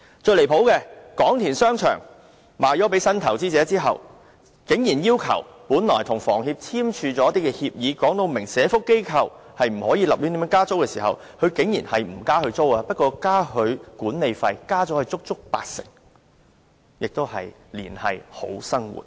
最離譜的是，廣田商場售予新投資者後，本來與房屋協會簽署協議訂明對社福機構不能胡亂加租，雖然新業主沒有加租，但卻增加足足八成的管理費，亦是"連繫好生活"。